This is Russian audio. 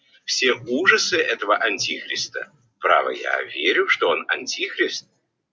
все ужасы этого антихриста я верю что он антихрист